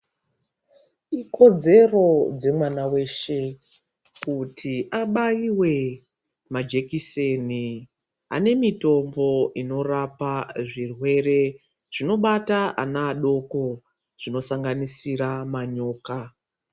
Ikodzero dzemwana weshe kuti abaiwe majekiseni anemitombo inorapa zvirwere zvinobata ana adoko, zvinosanganisira manyoka.